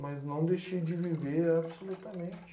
Mas não deixei de viver absolutamente.